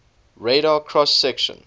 radar cross section